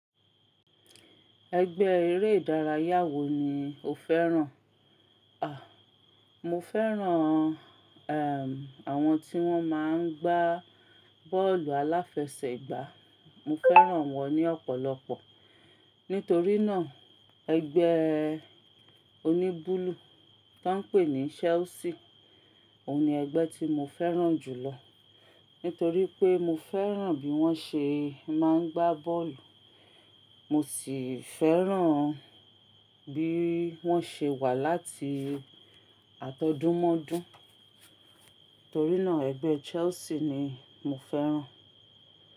Ẹgbẹ́ eré ìdárayá wo ni o fẹ́ràn? Àh, mo fẹ́ràn, ehm, àwọn tí wọ́n máa ń gbá bọ́ọ̀lù àláfẹsẹ̀gbá. Mo fẹ́ràn wọn ní ọ̀pọ̀lọpọ̀. Nítorí náà ẹgbẹ́ oní búlúù tó ń pè ní Chelsea, òun ni ẹgbẹ́ tí mo fẹ́ràn jù lọ. Nítorí pé mo fẹ́ràn bí wọ́n ṣe máa ń gbá bọ́ọ̀lù, mo sì fẹ́ràn bí wọ́n ṣe wà láti àtọ́dúnmọ́dún. Torí náà ẹgbẹ́ Chelsea ni mo fẹ́ràn.